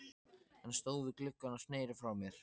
Hann stóð við gluggann og sneri frá mér.